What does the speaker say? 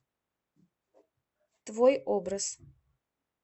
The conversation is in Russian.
твой образ